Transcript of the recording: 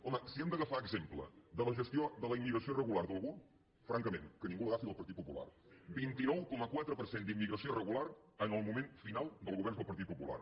home si hem d’agafar exemple de la gestió de la immigració irregular d’algú franca·ment que ningú l’agafi del partit popular vint nou coma quatre per cent d’immigració irregular en el moment final dels governs del partit popular